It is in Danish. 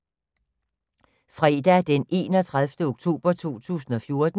Fredag d. 31. oktober 2014